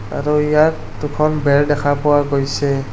আৰু ইয়াত দুখন বেৰ দেখা পোৱা গৈছে।